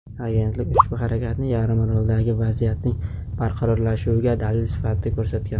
Agentlik ushbu harakatni yarimoroldagi vaziyatning barqarorlashuviga dalil sifatida ko‘rsatgan.